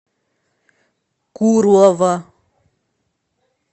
курлово